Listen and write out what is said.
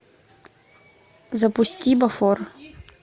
запусти бофор